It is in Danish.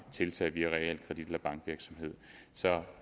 tiltag via realkredit eller bankvirksomhed så